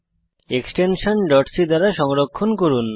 extension c দ্বারা সংরক্ষণ করুন